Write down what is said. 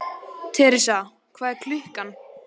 Teresa, hvað er klukkan?